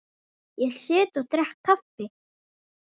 Ég sit og drekk kaffi.